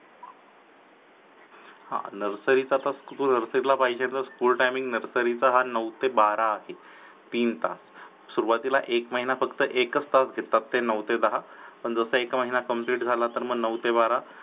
हा Nursery ला पाहिजे तर nursery ला पाहिजे तर school timing nursery चा हा नऊ ते बारा आहे तीन तास सुरुवातीला एक माहिना फक्त एकच तास घेतात नऊ ते दहा, पण जस एक महिन complete झाला मग नऊ ते बारा